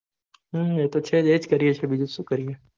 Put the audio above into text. હમ એ તો છેજ એજ કરીએ છીએ બીજું સુ કરીએ